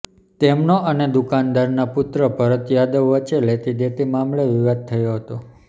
તેમનો અને દુકાનદારના પુત્ર ભરત યાદવ વચ્ચે લેતીદેતી મામલે વિવાદ થયો હતો